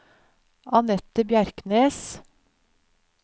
Annette Bjerknes